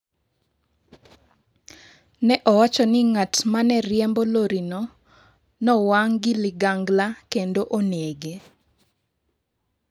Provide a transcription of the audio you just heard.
Ne owacho ni ng’at ma ne riembo lorino ne owang’ gi ligangla kendo onege.